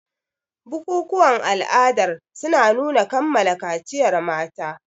Bukukuwan ala'adar suna nuna kammala kaciyar mata.